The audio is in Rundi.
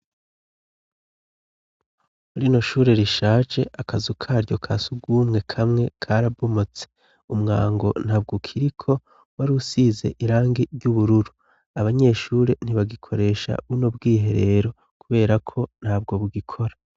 Rino shure rishaje akazu karyo kasugwumwe kamwe karabumotse, umwango ntabwo ukiriko, wari usize irangi ry'ubururu, abanyeshuri ntibagikoresha buno bwiherero kuberako ntabwo bugikora.